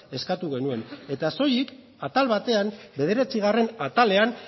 eskatu genuen eta soilik atal batean bederatzigarren atalean